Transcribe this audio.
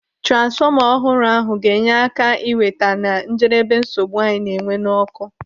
Transfọma ọhụrụ ahụ ga-enye aka iweta na njedebe nsogbu anyị na-enwe n'ọkụ.